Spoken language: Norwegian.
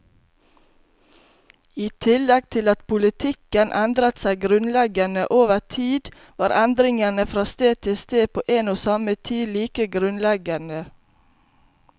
I tillegg til at politikken endret seg grunnleggende over tid, var endringene fra sted til sted på en og samme tid like grunnleggende.